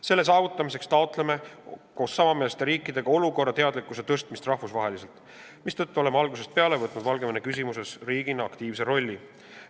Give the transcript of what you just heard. Selle saavutamiseks taotleme koos teiste samameelsete riikidega rahvusvahelise teadlikkuse suurendamist, mistõttu oleme algusest peale võtnud Valgevene küsimuses riigina aktiivse rolli.